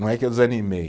Não é que eu desanimei.